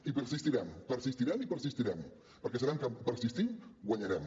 i persistirem persistirem i persistirem perquè sabem que persistint guanyarem